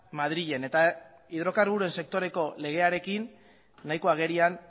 madrilen eta hidrokarburoaren sektoreko legearekin nahiko agerian